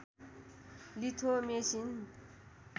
litho machine